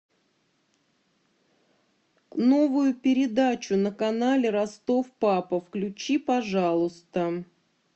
новую передачу на канале ростов папа включи пожалуйста